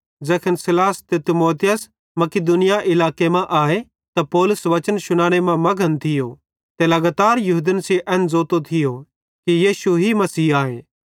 ज़ैखन सीलास ते तीमुथियुस मकिदुनिया इलाके मां आए त पौलुस वचन शुनाने मां मघन थियो ते लगातार यहूदन सेइं एन ज़ोतो थियो कि यीशु ही मसीह आए